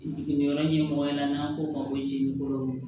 Jiginniyɔrɔ ɲɛmɔgɔ ɲɛna n'an ko ma ko jɛnini kolo